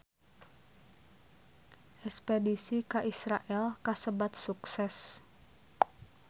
Espedisi ka Israel kasebat sukses